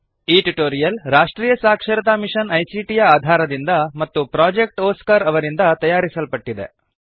ಈ ಟ್ಯುಟೋರಿಯಲ್ ರಾಷ್ಟ್ರೀಯ ಸಾಕ್ಷರತಾ ಮಿಶನ್ ಐಸಿಟಿ ಯ ಆಧಾರದಿಂದ ಮತ್ತು ಪ್ರೊಜೆಕ್ಟ್ ಒಸ್ಕಾರ್ ಅವರಿಂದ ತಯಾರಿಸಲ್ಪಟ್ಟಿದೆ